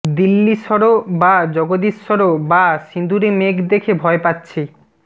দিল্লীশ্বরো বা জগদীশ্বরো বা সিঁদুরে মেঘ দেখে ভয় পাচ্ছি